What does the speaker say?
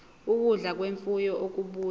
ukudla kwemfuyo okubuya